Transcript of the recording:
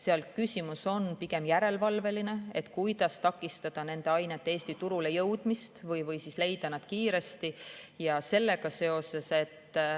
Seal on küsimus pigem järelevalves, kuidas takistada nende ainete Eesti turule jõudmist või siis kuidas leida nad kiiresti üles.